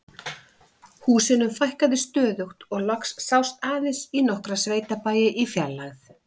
Húsunum fækkaði stöðugt og loks sást aðeins í nokkra sveitabæi í fjarlægð.